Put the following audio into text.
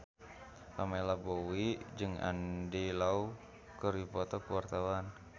Pamela Bowie jeung Andy Lau keur dipoto ku wartawan